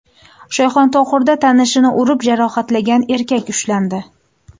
Shayxontohurda tanishini urib jarohatlagan erkak ushlandi.